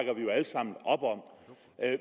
jo alle sammen op om